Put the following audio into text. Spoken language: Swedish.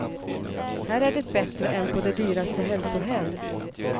Här är det bättre än på de dyraste hälsohem.